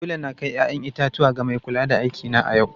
Dole na kai 'ya'yan itatuwa ga mai kula da aikina a yau.